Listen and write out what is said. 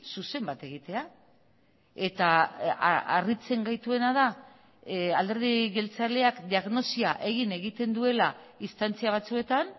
zuzen bat egitea eta harritzen gaituena da alderdi jeltzaleak diagnosia egin egiten duela instantzia batzuetan